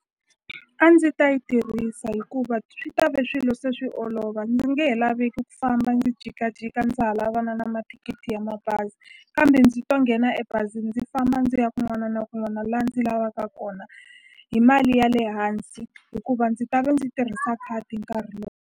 A ndzi ta yi tirhisa hikuva swi ta ve swilo se swi olova ndzi nge he laveki ku famba ndzi jikajika ndza ha lavana na mathikithi ya mabazi kambe ndzi to nghena ebazini ndzi famba ndzi ya kun'wana na kun'wana la ndzi lavaka kona hi mali ya le hansi hikuva ndzi ta ve ndzi tirhisa khadi nkarhi lowu.